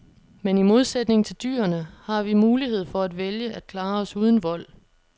Men i modsætning til dyrene har vi mulighed for at vælge at klare os uden vold.